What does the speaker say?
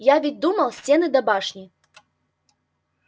я ведь думал стены да башни